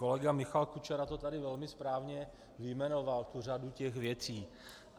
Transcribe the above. Kolega Michal Kučera to tady velmi správně vyjmenoval, tu řadu těch věcí.